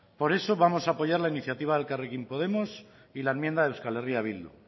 por eso vamos a apoyar la iniciativa de elkarrekin podemos y la enmienda de euskal herria bildu